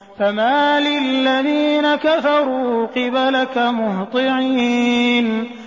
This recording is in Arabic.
فَمَالِ الَّذِينَ كَفَرُوا قِبَلَكَ مُهْطِعِينَ